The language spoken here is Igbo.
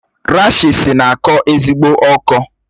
Rashịịsi na-akọ ezigbo ọkọ